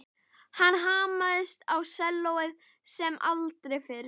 Hann hamaðist á sellóið sem aldrei fyrr.